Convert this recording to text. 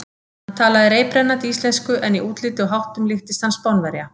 Hann talaði reiprennandi íslensku en í útliti og háttum líktist hann Spánverja.